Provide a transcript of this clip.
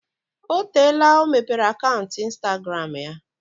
O teela ọ mepere akaụntụ instagramụ ya?